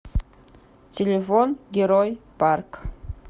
телефон герой парк